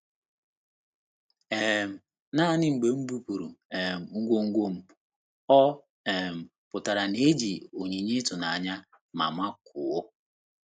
um Naanị mgbe m bupụrụ um ngwongwo m, ọ um pụtara na-eji onyinye ịtụnanya ma makụọ.